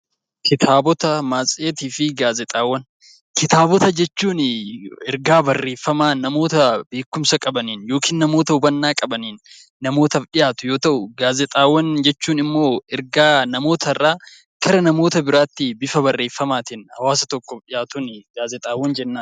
Kitaabota jechuun ergaa barreeffamaa namoota beekumsa qabaniin yookiin namoota hubannaa qabaniin namootaaf dhiyaatu yoo ta'u, gaazexaawwan jechuun immoo ergaa namoota irraa gara namoota biraatti bifa barreeffamaatiin hawaasa tokkoof dhiyaatuuni gaazexaawwan jennaani.